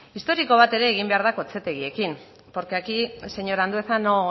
historiko bat egin behar da ere kotxetegiekin porque aquí señor andueza